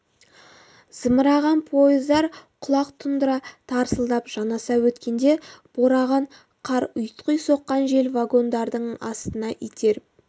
зымыраған пойыздар құлақ тұндыра тарсылдап жанаса өткенде бораған қар ұйтқи соққан жел вагондардың астына итеріп